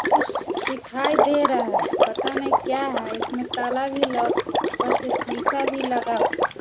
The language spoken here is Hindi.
कुछ दिखाई दे रहा हैं पता नहीं क्या हैं इसमें ताला भी लॉक हैं ऊपर से शीशा भी लगा हुआ है।